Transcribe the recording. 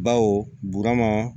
Baw